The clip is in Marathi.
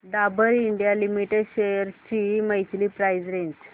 डाबर इंडिया लिमिटेड शेअर्स ची मंथली प्राइस रेंज